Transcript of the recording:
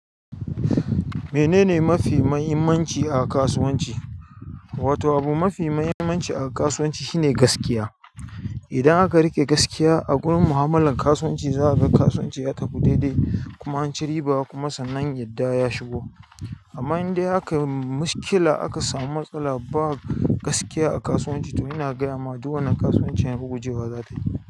Menene mafi muhimmanci a kasuwanci? Wato abu mafi muhimmanci a kasuwanci shine gaskiya. Idan aka riƙe gaskiya a gunan mu'amalar kasuwanci, za a ga kasuwanci ya tafi daidai kuma an ci riba kuma sannan yadda ya shigo. Amma in dai aka yi mashkila, aka samu matsala ba gaskiya a kasuwanci, to ina gaya ma duk wannan kasuwancin ragujewa za ta yi.